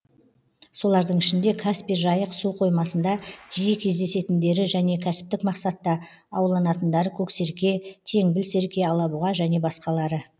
солардың ішінде каспий жайық су қоймасында жиі кездесетіндері және кәсіптік мақсатта ауланатындары көксерке теңбіл серке алабұға және басқалары